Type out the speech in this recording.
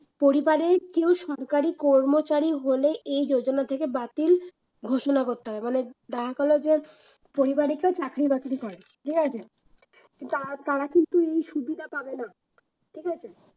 পরিবারের কেউ সরকারি কর্মচারী হলে এই যোজনা থেকে বাতিল ঘোষণা করতে হয়, মানে দেখা গেল যে পরিবারে কেউ চাকরি-বাকরি করে ঠিক আছে? তো তারা তারা কিন্তু এই সুবিধা পাবে না ঠিক আছে?